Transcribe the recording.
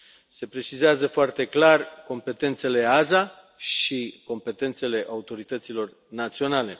Se precizează foarte clar competențele AESA și competențele autorităților naționale.